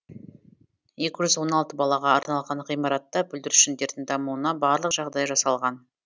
екі жүз он алты балаға арналған ғимаратта бүлдіршіндердің дамуына барлық жағдай жасалған